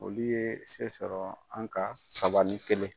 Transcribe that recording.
Olu ye se sɔrɔ an ka, saba ni kelen.